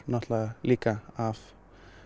líka af